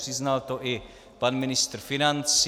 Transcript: Přiznal to i pan ministr financí.